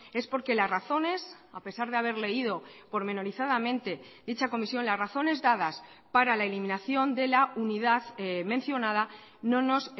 es porque las razones a pesar de haber leído pormenorizadamente dicha comisión las razones dadas para la eliminación de la unidad mencionada no nos